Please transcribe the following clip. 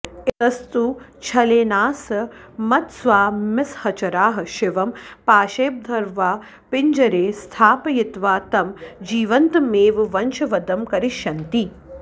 इतस्तु छलेनाऽस्मत्स्वामिसहचराः शिवं पाशैर्बद्ध्वा पिञ्जरे स्थापयित्वा तं जीवन्तमेव वशंवदं करिष्यन्ति